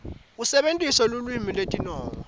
usebentisa lulwimi lwetinongo